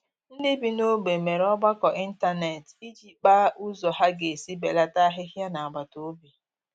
Ndị bi n'ogbe mere ọgbakọ ịntanet iji kpaa ụzọ ha ga-esi belata ahịhịa n'agbataobi